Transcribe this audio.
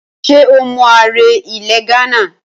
Ṣé o mọ ààrẹ ilẹ̀ Ghánà?